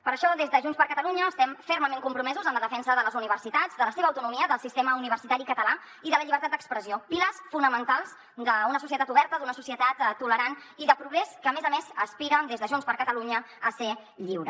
per això des de junts per catalunya estem fermament compromesos en la defensa de les universitats de la seva autonomia del sistema universitari català i de la llibertat d’expressió pilars fonamentals d’una societat oberta d’una societat tolerant i de progrés que a més a més aspira des de junts per catalunya a ser lliure